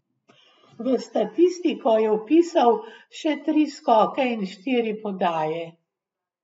V statistiko je vpisal še tri skoke in štiri podaje.